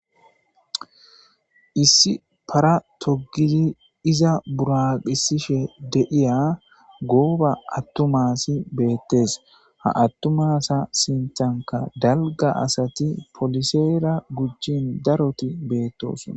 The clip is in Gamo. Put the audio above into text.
Issi para togidi iza buraqisishe de'iya gooba attumasi beettes ha attumasa sintanka dalga asati poliseera gujjin daroti beettosona.